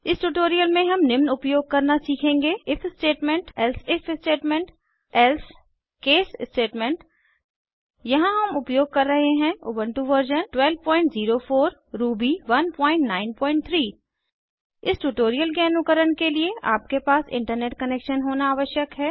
इस ट्यूटोरियल में हम निम्न उपयोग करना सीखेंगे if statement elsif statement else case statements यहाँ हम उपयोग कर रहे हैं उबन्टु वर्जन 1204 रूबी 193 इस ट्यूटोरियल के अनुकरण के लिए आपके पास इंटरनेट कनैक्शन होना आवश्यक है